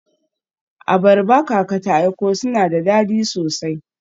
Abarba kaka ta aiko suna da dadi sosai.